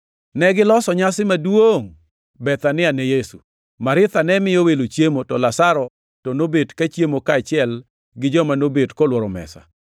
Negiloso nyasi maduongʼ Bethania ne Yesu. Maritha ne miyo welo chiemo, to Lazaro to nobet kachiemo kaachiel gi joma nobet kolworo mesa.